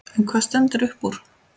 En hvað stendur uppúr?